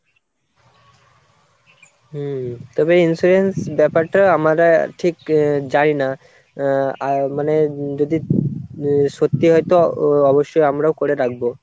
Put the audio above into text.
হম তবে insurance ব্যাপারটা আমরা ঠিক জানি না আহ আর মানে যদি সত্যি হয়তো অবশ্যই আমরাও করে রাখবো।